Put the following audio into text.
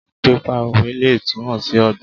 Pípa òwe lè túmọ̀ sí ọgbọ́n.